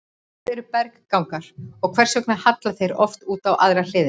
Hvað eru berggangar og hvers vegna halla þeir oft út á aðra hliðina?